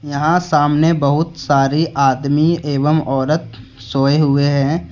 यहां सामने बहुत सारे आदमी एवं औरत सोए हुए है।